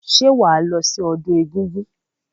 Ṣé wàá lọ sí ọdún egúngún?